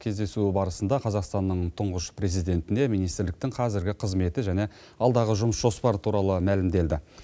кездесу барысында қазақстанның тұңғыш президентіне министрліктің қазіргі қызметі және алдағы жұмыс жоспары туралы мәлімделді